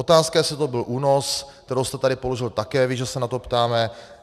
Otázka, jestli to byl únos, kterou jste tady položil také vy, že se na to ptáme.